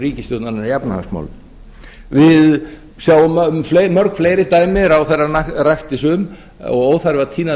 ríkisstjórnarinnar í efnahagsmálum við sjáum mörg fleiri dæmi ráðherrann rakti sum og það er óþarfi að tína